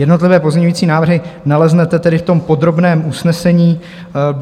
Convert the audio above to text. Jednotlivé pozměňovací návrhy naleznete tedy v tom podrobném usnesení.